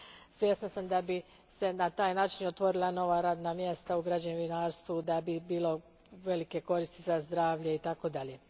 Svjesna sam da bi se na taj način otvorila nova radna mjesta u građevinarstvu, da bi bilo velike koristi za zdravlje i tako dalje.